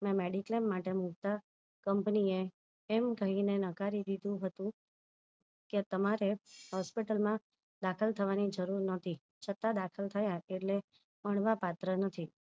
મેં mediclaim માટે નું company એમ કહીને નકારી દીધું હતું કે તમારે hospital દાખલ થવાની જરૂર નથી છતાં દાખલ થયા એટલે મળવા પાત્ર નથી